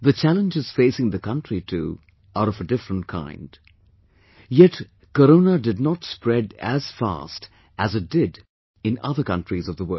The challenges facing the country too are of a different kind, yet Corona did not spread as fast as it did in other countries of the world